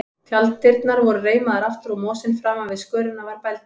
Tjalddyrnar voru reimaðar aftur og mosinn framan við skörina var bældur.